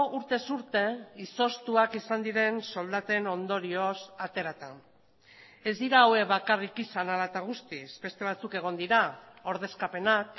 urtez urte izoztuak izan diren soldaten ondorioz aterata ez dira hauek bakarrik izan hala eta guztiz beste batzuk egon dira ordezkapenak